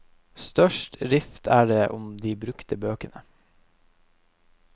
Størst rift er det om de brukte bøkene.